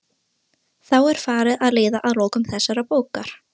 Þá er farið að líða að lokum þessarar bókar.